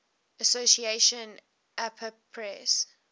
association apa press